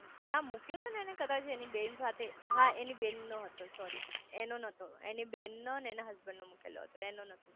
ના મુક્યો તો ને કદાચ એની બેન સાથે હા એની બેન નો હતો સોરી એનો નતો એની બેન નો એના હસબન્ડ નો મુકેલો હતો એનો નતો